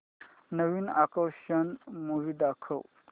नवीन action movie दाखव